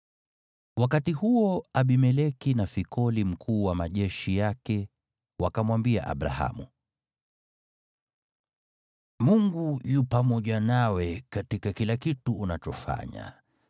Wakati huo Abimeleki na Fikoli mkuu wa majeshi yake wakamwambia Abrahamu, “Mungu yu pamoja nawe katika kila kitu unachofanya.